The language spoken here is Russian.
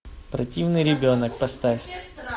противный ребенок поставь